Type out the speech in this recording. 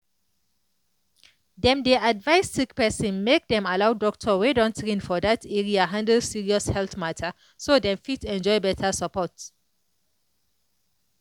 dem dey advise sick person make dem allow doctor wey don train for that area handle serious health matter so dem fit enjoy better support.